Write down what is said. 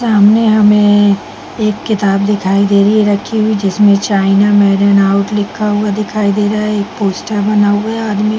सामने हमे एक किताब दिखाई दे रही है रखी हुई है जिसमे चाइना मेड एंड आउट लिखा हुआ दिखाई दे रहा है। एक पोस्टर बना हुआ है आदमी--